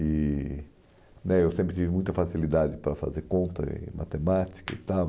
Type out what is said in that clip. E né Eu sempre tive muita facilidade para fazer conta em matemática e tal.